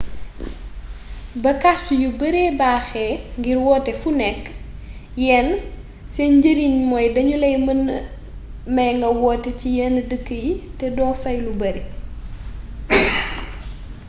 ba kàrt yu bare baaxee ngir woote fu nekk yenn seen njëriñ mooy danuy la mëna may nga woote ci yen dëkk yii te do fay lu bare